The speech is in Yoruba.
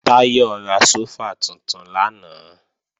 Táyọ̀ ra sófà tuntun lánàá